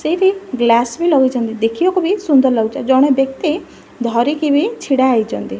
ସେଇଠି ଗ୍ଲାସ୍ ବି ଲଗାଇଛନ୍ତି ଦେଖିବାକୁ ବି ସୁନ୍ଦର ଲାଗୁଛି ଆଉ ଜଣେ ବ୍ୟକ୍ତି ଧରିକି ବି ଛିଡ଼ା ହେଇଛନ୍ତି।